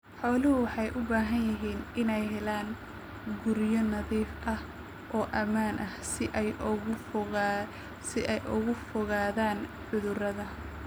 Xooluhu waxay u baahan yihiin inay helaan guryo nadiif ah oo ammaan ah si ay uga fogaadaan cudurrada.